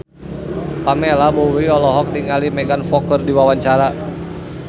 Pamela Bowie olohok ningali Megan Fox keur diwawancara